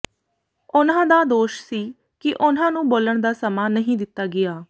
ਉਨ੍ਹਾਂ ਦਾ ਦੋਸ਼ ਸੀ ਕਿ ਉਨ੍ਹਾਂ ਨੂੰ ਬੋਲਣ ਦਾ ਸਮਾਂ ਨਹੀਂ ਦਿੱਤਾ ਗਿਆ